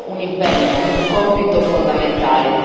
Abbiamo un impegno, un compito fondamentale.